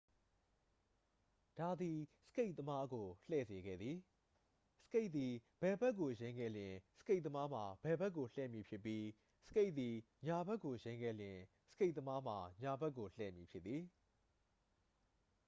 ဒါသည် စကိတ်သမားကို လှည့်စေခဲ့သည် စကိတ်သည် ဘယ်ဘက်ကို ယိမ်းခဲ့လျှင် စကိတ်သမားမှာ ဘယ်ဘက်ကို လှည့်မည်ဖြစ်ပြီး စကိတ်သည် ညာဘက်ကိုယိမ်းခဲ့လျှင် စကိတ်သမားမှာ ညာဘက်ကိုလည့်မည်ဖြစ်သည်